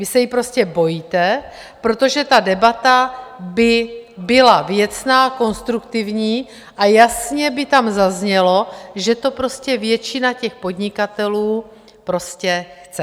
Vy se jí prostě bojíte, protože ta debata by byla věcná, konstruktivní a jasně by tam zaznělo, že to prostě většina těch podnikatelů prostě chce.